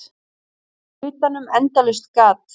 Utanum endalaust gat.